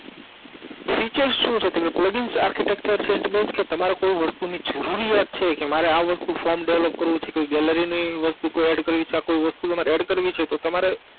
Features શું છે તમે Plugin ArchitectureSaint Base તમારે કોઈ વસ્તુની જરૂરિયાત છે કે મારે આ વસ્તુ Form Develop કરવું છે કે Gallery ની વસ્તુ કોઈ add કરવી છે આ કોઈ વસ્તુ તમારે add કરવી છે તો તમારે